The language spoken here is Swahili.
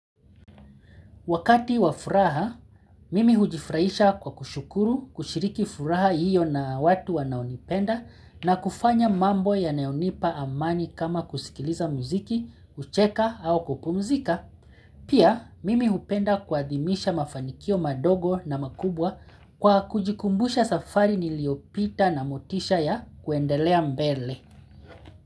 Wakati wafuraha, mimi hujifurahisha kwa kushukuru kushiriki furaha hiyo na watu wanaonipenda na kufanya mambo ya nayonipa amani kama kusikiliza muziki, kucheka au kupumzika. Pia, mimi hupenda kuadhimisha mafanikio madogo na makubwa kwa kujikumbusha safari niliopita na motisha ya kuendelea mbele.